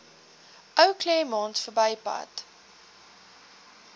ou claremont verbypad